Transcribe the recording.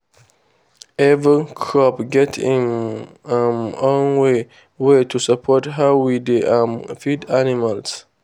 every crop get im um own way way to support how we dey um feed animals.